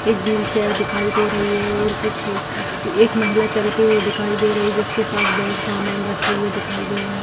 एक wheelchair दिखाई दे रही है और कुछ एक महिला चलते हुए दिखाई दे रही है जिसके पास बैग सामान रखे हुए दिखाई दे रहे है ।